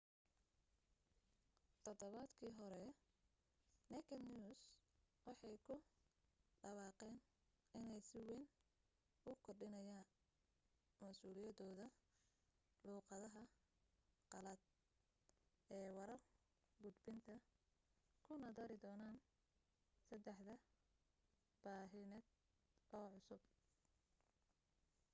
todobaadkii hore naked news waxay ku dhawaaqeen inay si wayn u kordhinayaa masuuliyadood luuqadaha qalaad ee warar gudbinta kuna dari doonaan saddex baahineed oo cusub